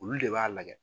Olu de b'a lajɛ